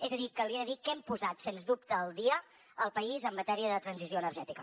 és a dir que li he de dir que hem posat sens dubte al dia el país en matèria de transició energètica